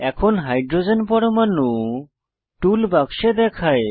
এখন H পরমাণু tool বাক্সে দেখায়